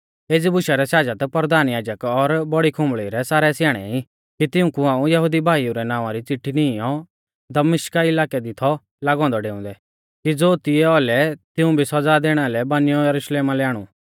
एज़ी बुशा रै शाजत परधान याजक और बौड़ी खुम्बल़ी रै सारै स्याणै ई कि तिऊंकु हाऊं यहुदी भाईऊ रै नावां री चिट्ठी नीईंयौ दमिश्का इलाकै लै थौ लागौ औन्दौ डेउंदै कि ज़ो तिऐ औलै तिऊं भी सौज़ा दैणा लै बानियौ यरुशलेमा लै आणु